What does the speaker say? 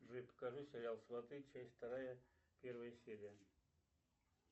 джой покажи сериал сваты часть вторая первая серия